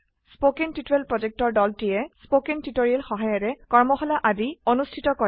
কথন শিক্ষণ প্ৰকল্পৰ দলটিয়ে কথন শিক্ষণ সহায়িকাৰে কৰ্মশালা আদি অনুষ্ঠিত কৰে